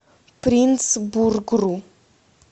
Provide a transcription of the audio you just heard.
принтсбургру